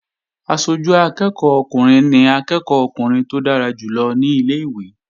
Aṣojú akẹ́ẹ̀kọ́ ọkùnrin ni akẹ́ẹ̀kọ́ ọkùnrin tó dára jù lọ ní ilé-ìwé